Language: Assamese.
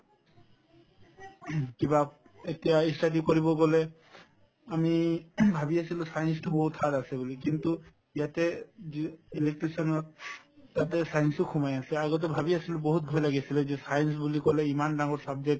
কিবা এতিয়া ই study কৰিব গলে আমি ভাবি আছিলো science তো বহুত hard আছে বুলি কিন্তু ইয়াতে electrician ত তাতে science ও সোমাই আছে আগতে ভাবি আছিলো বহুত ভয় লাগি আছিলে যে science বুলি কলে ইমান ডাঙৰ subject